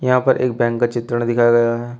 यहां पर एक बैंक का चित्रण दिखाया गया है।